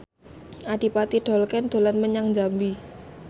Adipati Dolken dolan menyang Jambi